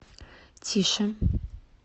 тише